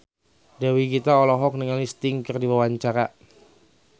Dewi Gita olohok ningali Sting keur diwawancara